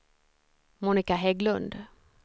Monica Hägglund